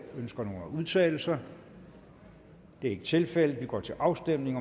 ønsker nogen at udtale sig det er ikke tilfældet og vi går til afstemning